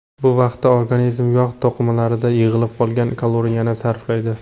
Bu vaqtda organizm yog‘ to‘qimalarida yig‘ilib qolgan kaloriyani sarflaydi.